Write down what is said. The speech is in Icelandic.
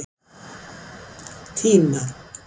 Tína